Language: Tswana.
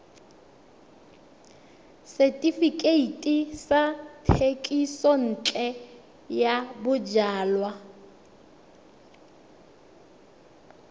setefikeiti sa thekisontle ya bojalwa